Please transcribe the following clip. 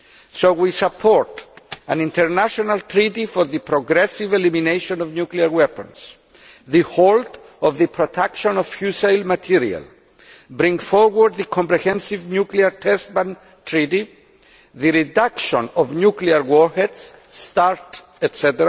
So we support an international treaty for the progressive elimination of nuclear weapons, a halt to the production of fissile material, bringing forward the comprehensive nuclear test ban treaty, the reduction of nuclear warheads, START, etc.,